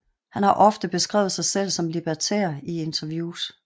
Han har ofte beskrevet sig selv som libertær i interviews